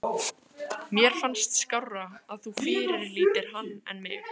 Mér fannst skárra að þú fyrirlitir hann en mig.